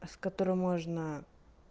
с которой можно